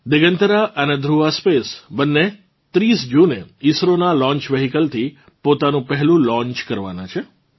દિગંતરા અને ધ્રુવા સ્પેસ બંને 30 જૂને ઇસરોનાં લોન્ચ વ્હીકલ થી પોતાનું પહેલું લોન્ચ કરવાનાં છે